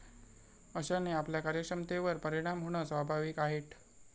अशाने आपल्या कार्यक्षमतेवर परिणाम होणं स्वाभाविक आहेट.